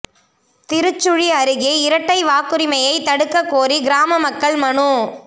திருச்சுழி அருகே இரட்டை வாக்குரிமையை தடுக்கக் கோரி கிராம மக்கள் மனு